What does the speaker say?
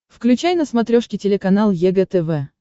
включай на смотрешке телеканал егэ тв